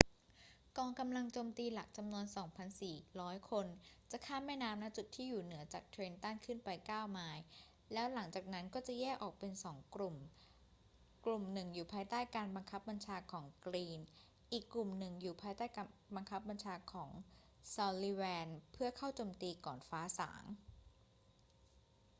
กองกำลังโจมตีหลักจำนวน 2,400 คนจะข้ามแม่น้ำ ณ จุดที่อยู่เหนือจากเทรนตันขึ้นไปเก้าไมล์ แล้วหลังจากนั้นก็จะแยกออกเป็นสองกลุ่ม กลุ่มหนึ่งอยู่ภายใต้การบังคับบัญชาของกรีน อีกกลุ่มอยู่ภายใต้การบังคับบัญของของซัลลิแวน เพื่อเข้าโจมตีก่อนฟ้าสาง